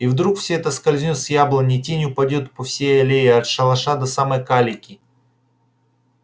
и вдруг все это скользнёт с яблони и тень упадёт по всей аллее от шалаша до самой калитки